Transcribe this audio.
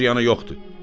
heç ziyanı yoxdur.